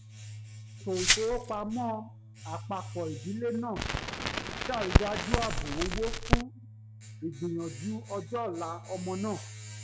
ètò ìfowópamọ́ àpápọ̀ ìdílé náà sàrídájú àbò owó fún ìgbìyànjú ọjọ́ ọ̀la ọmọ náà